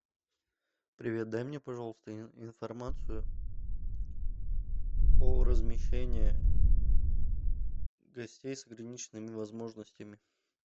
привет дай мне пожалуйста информацию о размещении гостей с ограниченными возможностями